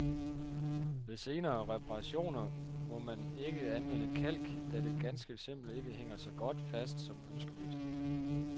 Ved senere reparationer, må man ikke anvende kalk, da det ganske simpelt ikke hænger så godt fast som ønskeligt.